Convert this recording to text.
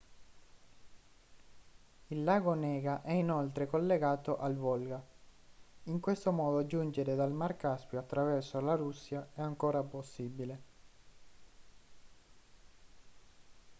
il lago onega è inoltre collegato al volga in questo modo giungere dal mar caspio attraverso la russia è ancora possibile